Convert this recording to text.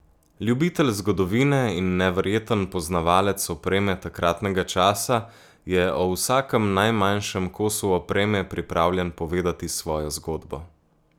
Ljubitelj zgodovine in neverjeten poznavalec opreme takratnega časa je o vsakem najmanjšem kosu opreme pripravljen povedati svojo zgodbo.